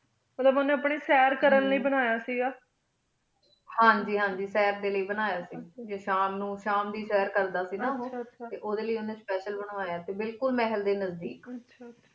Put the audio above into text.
ਮਤ੍ਲਨ ਉਨ ਅਪਨੀ ਸਾਲ ਲੈ ਬਨਾਯਾ ਸੇ ਗਾ ਹਨ ਜੀ ਹਨ ਜੀ ਸਾਲ ਡੀ ਲੈ ਬਨਾਯਾ ਸੇ ਗਾ ਟੀ ਸ਼ਾਮ ਨੂੰ ਸ਼ਾਮ ਦੀ ਸਰ ਕਰਦਾ ਸੇ ਗਾ ਨਾ ਉਹੁ ਆਚਾ ਟੀ ਉਦਯ ਲੈ ਉਨੀ ਅਸ੍ਪਾਸ਼ਿਲ ਬਨਵਾਯ ਸੇ ਬਿਲਕੁਲ ਮਹਿਲ ਡੀ ਨਜਦੀਕ